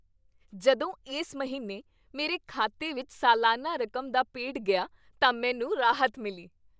ਜਦੋਂ ਇਸ ਮਹੀਨੇ ਮੇਰੇ ਖਾਤੇ ਵਿੱਚ ਸਾਲਾਨਾ ਰਕਮ ਦਾ ਪੇਡ ਗਿਆ ਤਾਂ ਮੈਨੂੰ ਰਾਹਤ ਮਿਲੀ।